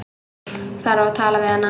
Þarf að tala við hana.